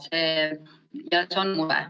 See on mure.